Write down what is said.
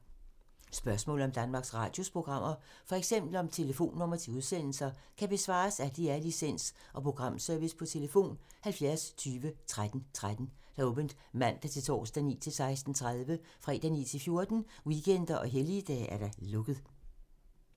Spørgsmål om Danmarks Radios programmer, f.eks. om telefonnumre til udsendelser, kan besvares af DR Licens- og Programservice: tlf. 70 20 13 13, åbent mandag-torsdag 9.00-16.30, fredag 9.00-14.00, weekender og helligdage: lukket.